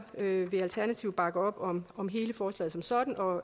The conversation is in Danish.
vil alternativet bakke op om om hele forslaget som sådan og